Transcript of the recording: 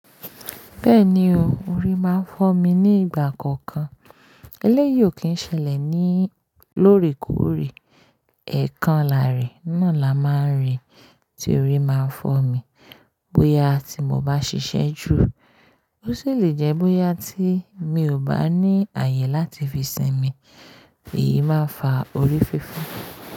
Bẹ́ẹ̀ni o, orí máa ń fọ́ mi nígbà kọ̀ọ̀kan. Eléyìí ò kí n ṣẹlẹ̀ ní lórèkórè, ẹ̀ẹ̀kanlá rẹ̀ náà la máa ń rí tí orí máa ń fọ́ mi. Bóyá tí mo bá ṣiṣẹ́ ju, ó sì lè jẹ́ bóyá tí mi ò bá ní àyè láti fi sinmi, èyí máa ń fa orí fífọ́.